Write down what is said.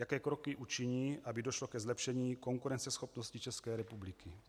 Jaké kroky učiní, aby došlo ke zlepšení konkurenceschopnosti České republiky?